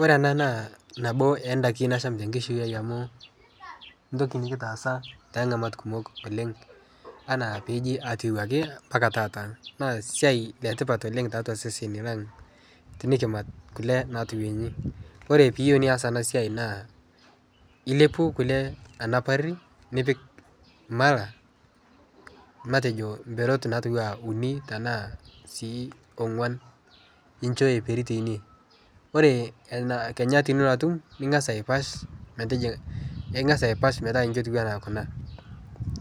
Ore ena naa nabo odakin naashma ekishui ai amu etoki nikitaasa kat kumok oooleng anaa pee eji ketiu ake yie mpaka taata. Siai etipat oooleng tiatua sesn lang tenikimat kule natiu ji, ore piiyio nias ena siai naa ilepu kule anap pari nipik emala matejo perat nara uni tena sii onguan nicho ebik teine. Ore kenya tinilotu ningas aiposh metijinga ningas aiposh metotiuo anaa kuna